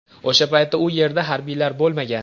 O‘sha paytda u yerda harbiylar bo‘lmagan.